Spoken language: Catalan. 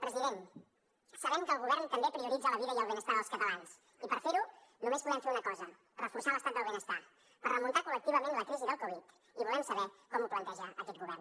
president sabem que el govern també prioritza la vida i el benestar dels catalans i per fer ho només podem fer una cosa reforçar l’estat del benestar per remuntar collectivament la crisi del covid i volem saber com ho planteja aquest govern